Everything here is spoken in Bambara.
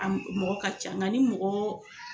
A mɔgɔ ka ca nga ni mɔgɔ